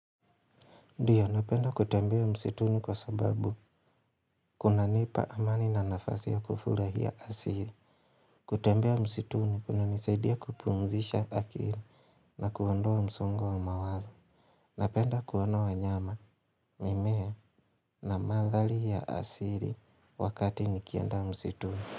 Ndiyo, napenda kutembea msituni, kwa sababu kunanipa amani na nafasi ya kufurahia asili kutembea msituni kunanisaidia kupumzisha akili na kuondoa msongo wa mawaza Napenda kuona wanyama, mimea na mandhari ya asili wakati nikienda msituni.